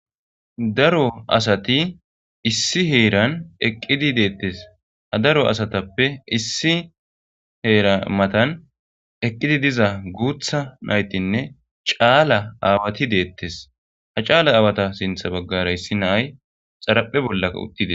Daro asati issi heran eqidi dettes. Ha daro asatzppe issi hera matan eqqidi diza gutha naytinne c'ala aawati detes ha c'ala aawata sintha bagara issi na'ay xaraphe bollaka uttides.